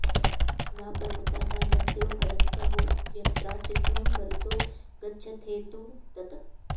न पर्वता न नद्यो वरन्त वो यत्राचिध्वं मरुतो गच्छथेदु तत्